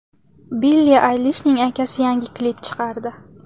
Billi Aylishning akasi yangi klip chiqardi .